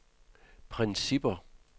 principper